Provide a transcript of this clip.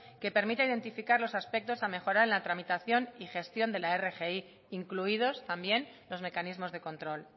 que permita identificar los aspectos a mejorar en la tramitación y gestión de la rgi incluidos también los mecanismos de control